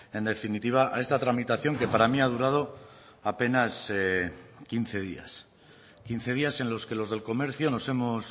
en definitiva a esta tramitación que para mí ha durado apenas quince días quince días en los que los del comercio nos hemos